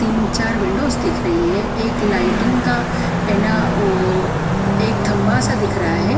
तीन चार विंडोस दिख रही है एक लाइटिंग का है ना वोोो एक थंबा सा दिख रहा है।